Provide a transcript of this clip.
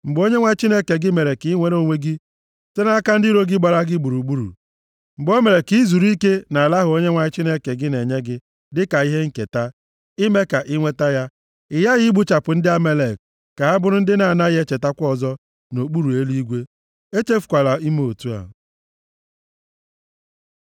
Mgbe Onyenwe anyị Chineke gị mere ka i nwere onwe gị site nʼaka ndị iro gbara gị gburugburu, mgbe o mere ka i zuru ike nʼala ahụ Onyenwe anyị Chineke gị na-enye gị dịka ihe nketa, ime ka i nweta ya, ị ghaghị igbuchapụ ndị Amalek, ka ha bụrụ ndị a na-agaghị echetakwa ọzọ nʼokpuru eluigwe. Echefukwala ime otu a.